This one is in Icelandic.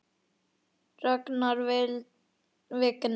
Ragnar Vignir.